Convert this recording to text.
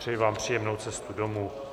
Přeji vám příjemnou cestu domů.